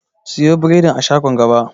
Sayi biredin a shagon gaba.